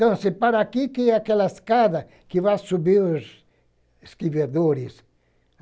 Então, assim, para aqui que é aquela escada que vai subir os.